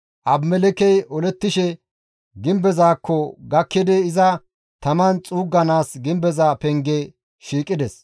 Abimelekkey olettishe gimbezaakko gakkidi iza taman xuugganaas gimbeza penge shiiqides.